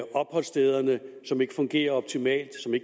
opholdssteder som ikke fungerer optimalt og